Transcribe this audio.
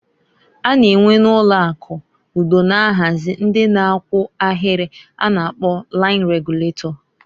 A na enwe na ụlọ akụ ụdọ na-ahazi ndị na-akwụ ahịrị a na-akpọ lain reguletọ.